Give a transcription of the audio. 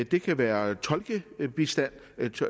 det kan være tolkebistand